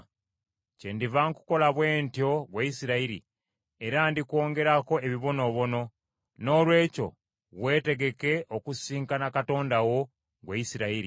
“Kyendiva nkukola bwe ntyo, ggwe Isirayiri, era ndikwongerako ebibonoobono. Noolwekyo weetegeke okusisinkana Katonda wo, ggwe Isirayiri.”